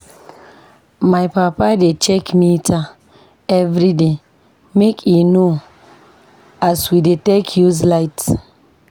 My papa dey check meter everyday make e know as we dey take use light.